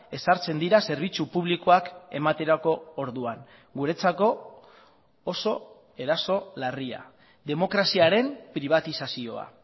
ezartzen dira zerbitzu publikoak ematerako orduan guretzako oso eraso larria demokraziaren pribatizazioa